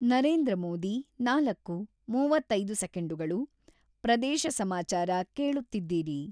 ನರೇಂದ್ರ ಮೋದಿ-ನಾಲ್ಕು (ಮೂವತ್ತೈದು ಸೆಕೆಂಡುಗಳು) ಪ್ರದೇಶ ಸಮಾಚಾರ ಕೇಳುತ್ತಿದ್ದೀರಿ.